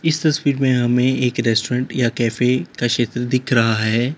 इस तस्वीर में हमें एक रेस्टोरेंट या कैफे का क्षेत्र दिख रहा है।